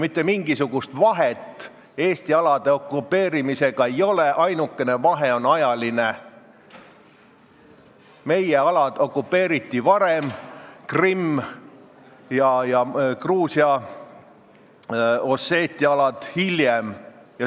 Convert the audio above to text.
Mitte mingisugust vahet Eesti alade okupeerimisega ei ole, ainukene vahe on ajaline: meie alad okupeeriti varem, Krimm ja Gruusia Osseetia alad hiljem.